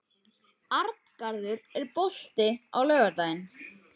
Arngarður, er bolti á laugardaginn?